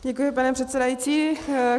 Děkuji, pane předsedající.